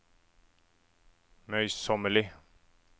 møysommelig